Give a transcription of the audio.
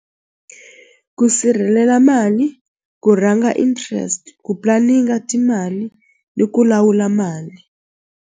Ku sirhelela mali ku rhanga interest ku timali ni ku lawula mali.